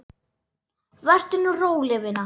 LÁRUS: Vertu nú róleg, vina.